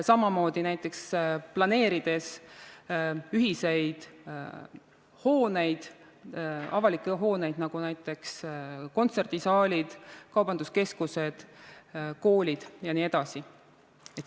Samamoodi näiteks võiks planeerida ühiseid avalikke hooneid, näiteks kontserdisaalid, kaubanduskeskused, koolid jne.